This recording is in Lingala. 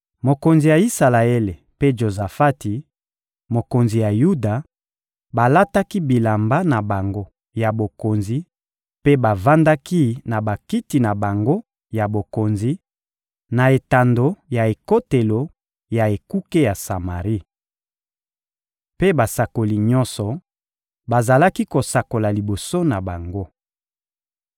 Mokonzi ya Isalaele mpe Jozafati, mokonzi ya Yuda, balataki bilamba na bango ya bokonzi mpe bavandaki na bakiti na bango ya bokonzi, na etando ya ekotelo ya ekuke ya Samari. Mpe basakoli nyonso bazalaki kosakola liboso na bango.